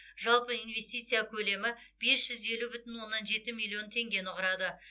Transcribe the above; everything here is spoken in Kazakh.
жалпы инвестиция көлемі бес жүз елу бүтін оннан жеті миллион теңгені құрады